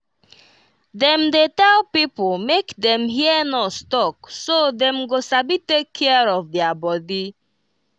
dem dey tell pipo make dem hear nurse talk so dem go sabi take care of their body.